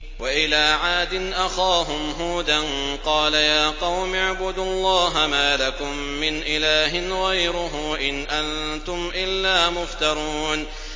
وَإِلَىٰ عَادٍ أَخَاهُمْ هُودًا ۚ قَالَ يَا قَوْمِ اعْبُدُوا اللَّهَ مَا لَكُم مِّنْ إِلَٰهٍ غَيْرُهُ ۖ إِنْ أَنتُمْ إِلَّا مُفْتَرُونَ